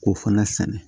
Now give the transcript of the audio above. K'o fana sɛnɛ